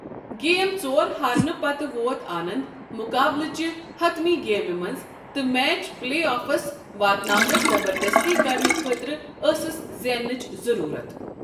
Game ژور ہارنہٕ پتہٕ ووت آننٛد مُقابلہٕ چہِ حطمی گیمہِ منٛز تہٕ میچ پلے آفس واتناونس زبردستی كرنہٕ خٲطرٕ ٲسس زینٛنٕچ ضٔروٗرت۔